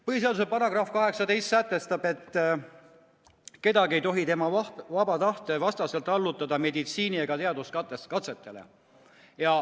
Põhiseaduse § 18 sätestab, et kedagi ei tohi tema vaba tahte vastaselt allutada meditsiini- ega teaduskatsetele.